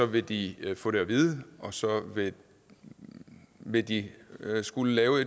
vil de få det at vide og så vil de skulle lave